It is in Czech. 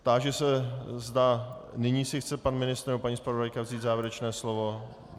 Táži se, zda nyní si chce pan ministr nebo paní zpravodajka vzít závěrečné slovo.